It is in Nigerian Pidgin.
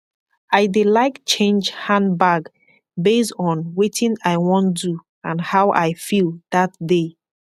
i dey laik change handbag base on wetin i wan do and how i feel dat day